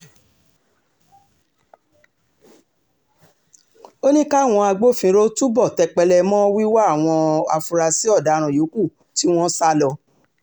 ó ní káwọn agbófinró túbọ̀ tẹpẹlẹ mọ́ wíwá àwọn afurasí ọ̀daràn yòókù tí wọ́n sá lọ